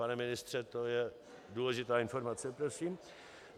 Pane ministře, to je důležitá informace prosím.